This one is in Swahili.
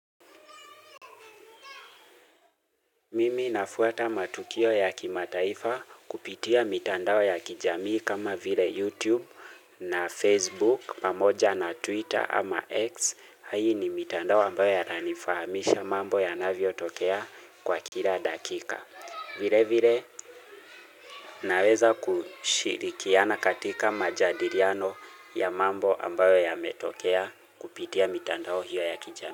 Mimi nafuata matukio ya kimataifa kupitia mitandao ya kijamii kama vile YouTube na Facebook pamoja na Twitter ama X. Hii ni mitandao ambayo inifahamisha mambo yanavyotokea kwa kila dakika. Vile vile naweza kushirikiana katika majadiliano ya mambo ambayo yametokea kupitia mitandao hiyo ya kijamii.